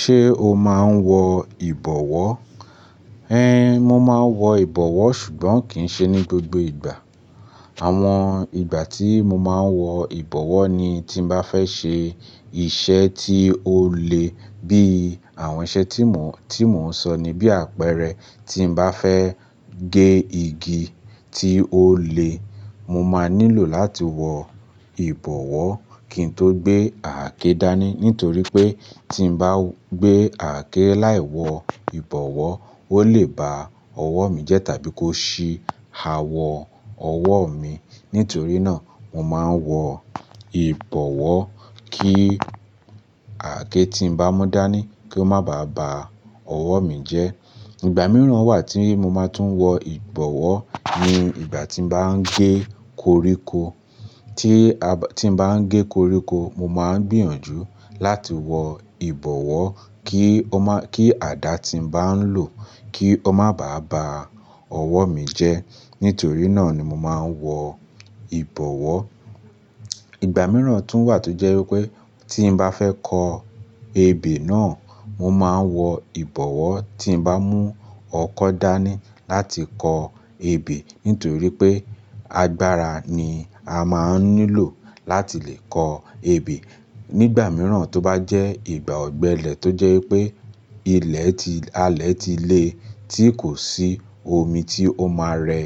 Ṣé o máa ń wọ ìbọwọ́? Ẹhn, mo máa ń wọ ìbọwọ́ ṣùgbọ́n kì í ṣe ní gbogbo ìgbà. Àwọn ìgbà tí mo máa ń wọ ìbọwọ́ ni tí mo bá fẹ́ ṣe iṣẹ́ tí ó le bí àwọn iṣẹ́ tí mò ń, tí mò ń sọ ní bí àpẹrẹ, tí mo bá fẹ́ gé igi tí ó le, mo máa nílò láti wọ ìbọwọ́ kí n tó gbé àáké dání nítorí pé tí n bá gbé àáké láì wọ ìbọwọ́, ó lè ba ọwọ́ mi jẹ́ tàbí kó ṣí awọ ọwọ́ mi. Nítorí náà, mo máa ń wọ ìbọwọ́ kí àáké tí n bá mú dání kó má ba à ba ọwọ́ mi jẹ́. Ìgbà mìíràn wà tí mo máa tún wọ ìbọwọ́ ni ìgbà tí n bá ń gé koríko. Tí a bá, tí n bá ń gé koríko, mo máa ń gbìyànjú láti wọ ìbọwọ́ kí ó má, kí àdá tí n bá ń lò kí ó má bàá ba ọwọ́ mi jẹ́. Nítorí náà ni mo máa ń wọ ìbọwọ́. Ìgbà mìíràn tún wà tó jẹ́ wípé tí n bá fẹ́ kọ ebè náà, mo máa ń wọ ìbọwọ́ tí n bá mú ọkọ́ dání láti kọ ebè nítorí pé agbára ni a máa ń nílò láti lè kọ ebè. Nígbà mìíràn tó bá jẹ́ ìgbà ọ̀gbẹlẹ̀ tó jẹ́ wípé ilẹ̀ ti, alẹ̀ ti le tí kò sí omi tí ó máa rẹ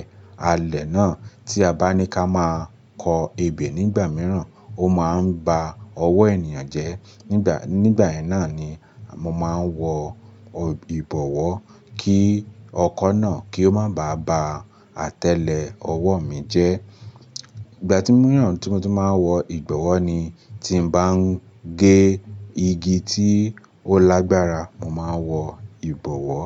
alẹ̀ náà tí a bá ní ká máa kọ ebè nígbà mìíràn, ó máa ń ba ọwọ́ ènìyàn jẹ́. Nígbà, nígbà náà ni mo máa ń wọ ìbọwọ́ kí ọkọ́ náà kí ó má bàá ba atẹle ọwọ́ mi jẹ́. Ìgbà mìíràn tí mo tún máa ń wọ ìbọwọ́ ni tí n bá ń gé igi tí ó lágbára, mo máa ń wọ ìbọwọ́.